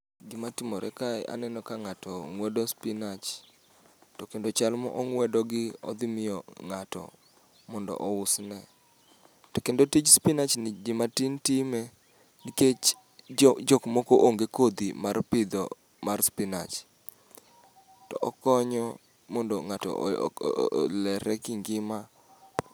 Gima timore kae, aneno ka ng'ato ng'wedo spinach. To kendo chal ma ong'wedo gi odhi miyo ng'ato mondo ousne. To kendo tij spinach ni joma tin time, nikech jo jok moko onge kodhi mar pidho mar spinach. To okonyo mondo ng'ato olere ki ngima.